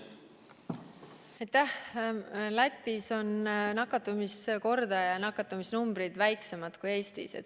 Lätis on nakatumisnumbrid väiksemad kui Eestis.